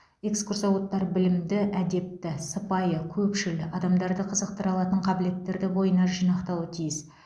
экскурсоводтар білімді әдепті сыпайы көпшіл адамдарды қызықтыра алатын қабілеттерді бойына жинақтауы тиіс